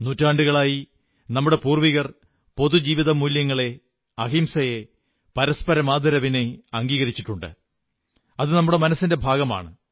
നൂറ്റാണ്ടുകളായി നമ്മുടെ പൂർവ്വികർ പൊതുജീവിതമൂല്യങ്ങളെ അഹിംസയെ പരസ്പരമുള്ള ആദരവിനെ അംഗീകരിച്ചിട്ടുണ്ട് അതു നമ്മുടെ മനസ്സിന്റെ ഭാഗമാണ്